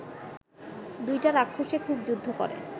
দুইটা রাক্ষসে খুব যুদ্ধ করে